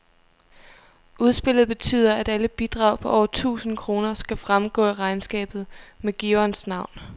Udspillet betyder, at alle bidrag på over tusind kroner skal fremgå af regnskabet med giverens navn.